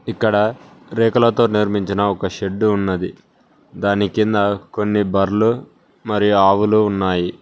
ఇక్కడ రేకులతో నిర్మించిన ఒక షెడ్డు ఉన్నది దాని కింద కొన్ని బర్రెలు మరియు ఆవులు ఉన్నాయి.